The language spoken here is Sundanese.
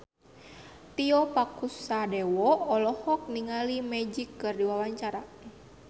Tio Pakusadewo olohok ningali Magic keur diwawancara